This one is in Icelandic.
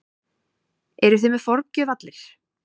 Eruð þið með forgjöf allir?